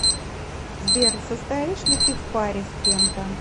сбер состоишь ли ты в паре с кем то